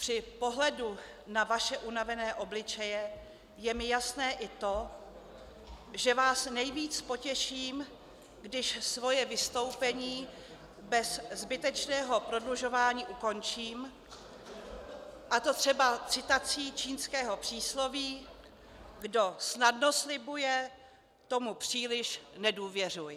Při pohledu na vaše unavené obličeje je mi jasné i to, že vás nejvíc potěším, když svoje vystoupení bez zbytečného prodlužování ukončím, a to třeba citací čínského přísloví: Kdo snadno slibuje, tomu příliš nedůvěřuj.